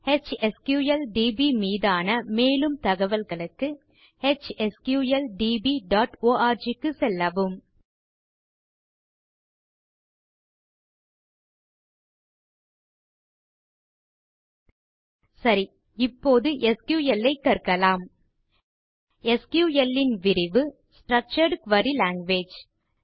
எச்எஸ்கிள்டிபி மீதான மேலும் தகவல்களுக்கு httphsqldborg க்கு செல்லவும் சரி இப்போது எஸ்கியூஎல் ஐ கற்கலாம் எஸ்கியூஎல் ன் விரிவு ஸ்ட்ரக்சர்ட் குரி லாங்குவேஜ்